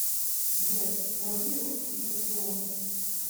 сбер вруби русский иллюзион